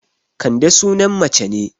Kande sunan mace ne